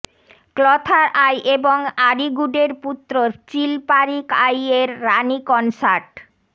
ক্লথার I এবং আরিগুডের পুত্র চিলপারিক আই এর রানী কনসার্ট